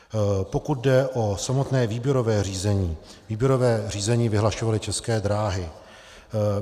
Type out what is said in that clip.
Pokud jde o samotné výběrové řízení, výběrové řízení vyhlašovaly České dráhy.